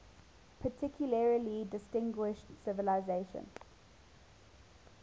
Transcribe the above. particularly distinguished civilization